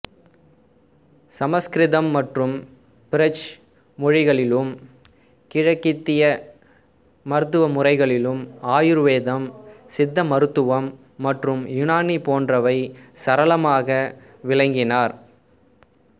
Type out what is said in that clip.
சமசுகிருதம் மற்றும் பிரஜ் மொழிகளிலும் கிழக்கித்திய மருத்துவ முறைகளிலும் ஆயுர்வேதம் சித்த மருத்துவம் மற்றும் யுனானிபோன்றவை சரளமாக விளங்கினார்